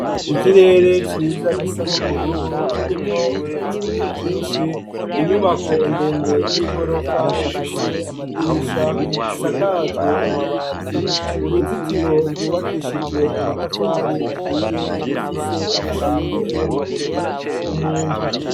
Ikirere ciza gisa n'ubururu kirimwo ibicu vyinshi inyubako ndende y'i gorofa ifise amadirisha isakajwe amabati uruzitiro rwubakishijwe amatafari ahiye rufise umushinge w' amabuye umuntu.